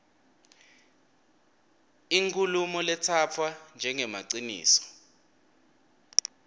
inkhulumo letsatfwa njengemaciniso